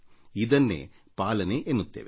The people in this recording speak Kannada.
ಇದನ್ನೇ ಪಾಲನೆ ಎನ್ನುತ್ತೇವೆ